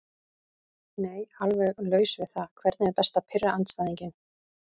Nei alveg laus við það Hvernig er best að pirra andstæðinginn?